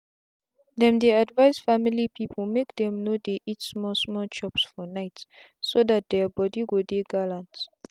them they advise family people make them no dey eat small small chops for nightso that their body go dey gallant.